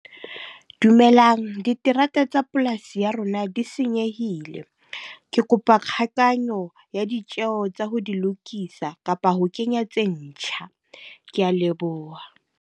Dumelang, diterata tsa polasi ya rona di senyehile. Ke kopa kgakanyo ya ditjeho tsa ho di lokisa, kapa ho kenya tse ntjha. Ke a leboha.